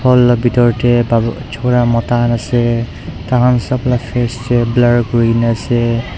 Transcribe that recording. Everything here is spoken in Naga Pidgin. hall laga bitor te pabo chora mota khan ase taikhan sap flesh face te blur kori kena ase.